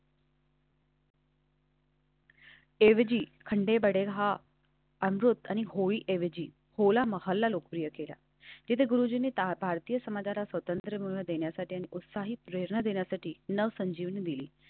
. हा अमृत आणि होळी ऐवजी होला महल्ला लोकप्रिय केला. तिथे गुरुजीने भारतीय समाजाला स्वातंत्र्य मिळवून देण्यासाठी आणि उत्साही प्रेरणा देण्यासाठी नवसंजीवनी दिली.